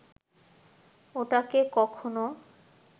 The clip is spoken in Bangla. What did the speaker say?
ওটাকে কখনো